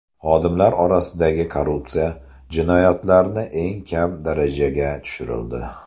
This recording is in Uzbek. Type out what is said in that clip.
Xodimlar o‘rtasidagi korrupsiya jinoyatlarni eng kam darajaga tushirildi.